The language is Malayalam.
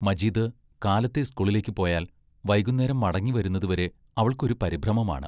മജീദ് കാലത്തെ സ്കൂളിലേക്ക്‌ പോയാൽ വൈകുന്നേരം മടങ്ങിവരുന്നതുവരെ അവൾക്ക് ഒരു പരിഭ്രമമാണ്.